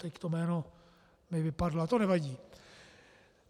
Teď to jméno mi vypadlo, ale to nevadí.